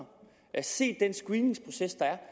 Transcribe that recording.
set den screeningsproces der er